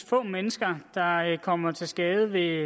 få mennesker der kommer til skade ved